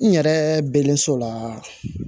N yɛrɛ bɛlen so la